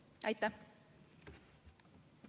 Aitäh!